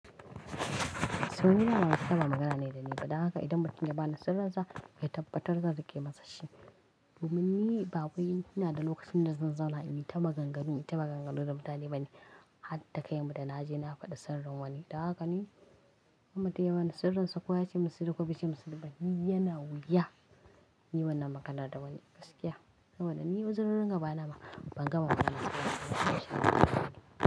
So nima ba wa ba magana ne da ni. Bada haka idan mutum ya bani sirri ya tabbatar zai ke masa shi. Domin ni babu ina da lokacin da zan zauna in yi ta maganganu, yi ta maganganu da mutane bani. Hadda kai mu da na je na faɗi sirrin wani. Don haka ni In mutum ya bani sirrinsa ko ya ce min sirri ko bai ce min sirri ba, ni yana wuya in yi wannan maganar da wani. Gaskiya. Saboda ni uzirorin gaba na ban gama bani sirri.